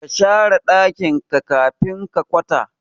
kashare dakin ka kafin ka kwata